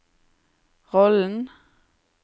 rollen